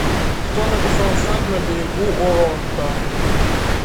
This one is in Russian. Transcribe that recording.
кто написал сад на берегу оронта